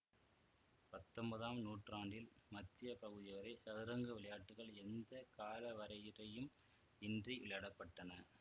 பத்தொன்பதாம் நூற்றாண்டில் மத்திய பகுதி வரை சதுரங்க விளையாட்டுக்கள் எந்த காலவரையறையும் இன்றி விளையாடப்பட்டன